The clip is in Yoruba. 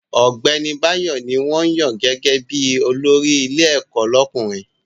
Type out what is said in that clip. Ọ̀gbẹ́ni Báyọ̀ ní wọ́n yàn gẹ́gẹ́ bí olórí ilé ẹ̀kọ́ lọ́kùnrin